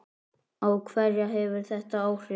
Á hverja hefur þetta áhrif?